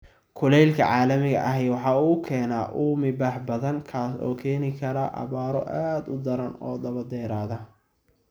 Kulaylka caalamiga ahi waxa uu keenaa uumi-bax badan, kaas oo keeni kara abaaro aad u daran oo daba dheeraada.